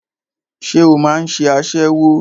Ṣé o máà ń ṣe aṣẹ́wó?